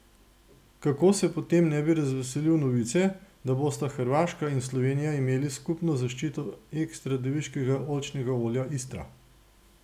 Kako se potem ne bi razveselili novice, da bosta Hrvaška in Slovenija imeli skupno zaščito ekstra deviškega oljčnega olja Istra?